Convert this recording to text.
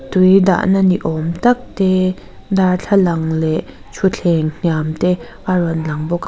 tui dahna ni awmtak te darthlalang leh thuthleng hniam te a rawn lang bawk--